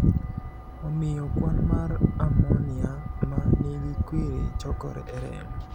Omiyo kwan mar ammonia ma nigi kwiri chokore e remo.